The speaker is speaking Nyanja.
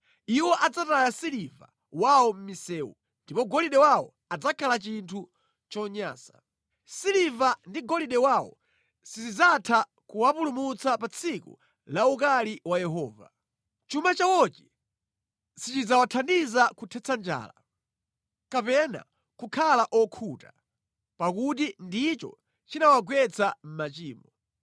“Iwo adzataya siliva wawo mʼmisewu ndipo golide wawo adzakhala chinthu chonyansa. Siliva ndi golide wawo sizidzatha kuwapulumutsa pa tsiku la ukali wa Yehova. Chuma chawochi sichidzawathandiza kuthetsa njala, kapena kukhala okhuta, pakuti ndicho chinawagwetsa mʼmachimo.